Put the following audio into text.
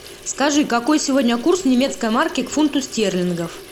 скажи какой сегодня курс немецкой марки к фунту стерлингов